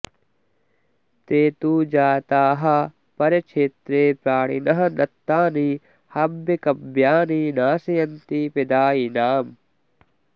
ते तु जाताः परक्षेत्रे प्राणिनः दत्तानि हव्यकव्यानि नाशयन्ति प्रदायिनाम्